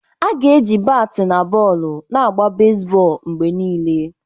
Aga na-eji batị na bọọlụ na-agba bezbọọlụ mgbe niile.